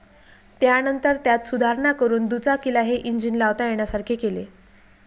त्यानंतर त्यात सुधारणा करून दुचाकीला हे इंजिन लावता येण्यासारखे केले.